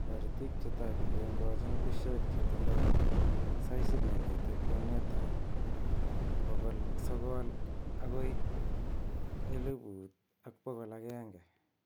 Toritik che tai, kokengochin bushek chetindo saisit nemiten kwenetab 900-1100.